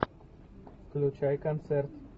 включай концерт